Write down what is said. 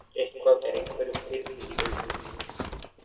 Eitthvað er einhverjum þyrnir í augum